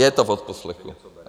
Je to v odposlechu.